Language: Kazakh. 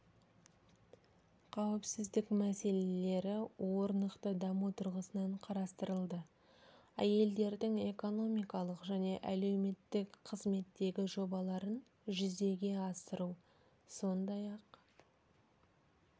қауіпсіздік мәселелері орнықты даму тұрғысынан қарастырылды әйелдердің экономикалық және әлеуметтік қызметтегі жобаларын жүзеге асыру сондай-ақ